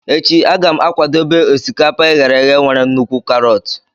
Echi a ga m akwadebe osikapa e ghere eghe nwere nnukwu karọt.